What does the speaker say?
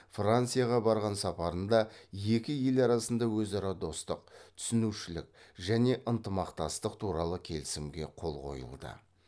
францияға барған сапарында екі ел арасында өзара достық түсінушілік және ынтымақтастық туралы келісімге қол қойылды